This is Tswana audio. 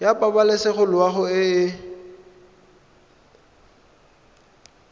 ya pabalesego loago e e